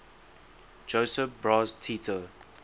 josip broz tito